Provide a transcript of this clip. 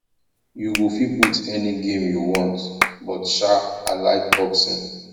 you go fit put any game you want but sha i like boxing